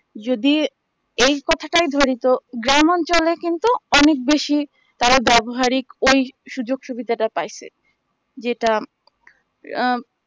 যদি এই কথা টাই ধরি তো গ্রাম অঞ্চলে কিন্তু অনেক বেশি তারা ব্যাবহারিক ওই সুযোগ সুবিধা টা পাইসে যেটা আ